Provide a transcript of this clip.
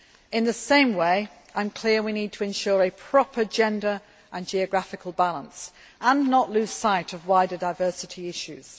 In the same way, I am clear we need to ensure a proper gender and geographical balance, and not lose sight of wider diversity issues.